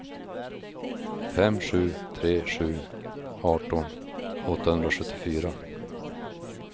fem sju tre sju arton åttahundrasjuttiofyra